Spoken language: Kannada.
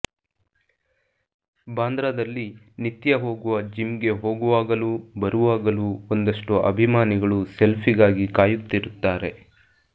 ಬಾಂದ್ರಾದಲ್ಲಿ ನಿತ್ಯ ಹೋಗುವ ಜಿಮ್ಗೆ ಹೋಗುವಾಗಲೂ ಬರುವಾಗಲೂ ಒಂದಷ್ಟು ಅಭಿಮಾನಿಗಳು ಸೆಲ್ಫಿಗಾಗಿ ಕಾಯುತ್ತಿರುತ್ತಾರೆ